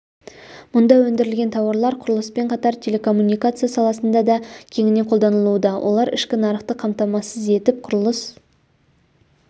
мұнда өндірілген тауарлар құрылыспен қатар телекоммуникация саласында да кеңінен қолданылуда олар ішкі нарықты қамтамасыз етіп құрылыс